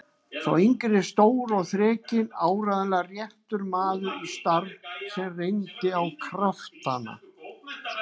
Sá yngri stór og þrekinn, áreiðanlega réttur maður í starf sem reyndi á kraftana.